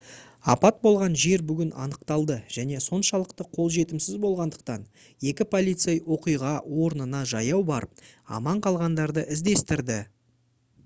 апат болған жер бүгін анықталды және соншалықты қолжетімсіз болғандықтан екі полицей оқиға орнына жаяу барып аман қалғандарды іздестірді